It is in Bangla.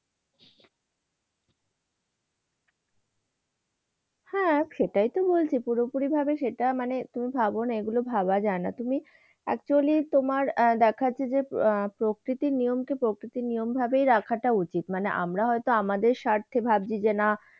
হ্যাঁ, সেটাইতো বলছি, পুরোপুরিভাবে সেটা মানে, তুমি ভাব না এগুলো ভাবা যায় না। তুমি actually তোমার আহ দেখাচ্ছে যে প্রকৃতির নিয়মকে প্রকৃতির নিয়ম ভাবেই রাখাটা উচিত। মানে আমরা হয়তো আমাদের স্বার্থে ভাবছি যে, না